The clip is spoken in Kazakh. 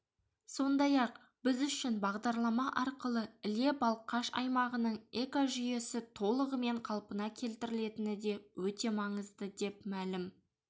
сондай-ақ біз үшін бағдарлама арқылы іле-балқаш аймағының экожүйесі толығымен қалпына келтірілетіні де өте маңызды деп мәлім